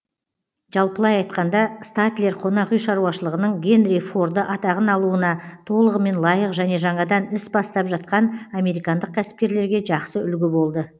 жалпылай айтқанда статлер қонақ үй шаруашылығының генри форды атағын алуына толығымен лайық және жаңадан іс бастап жатқан американдық кәсіпкерлерге жақсы үлгі болды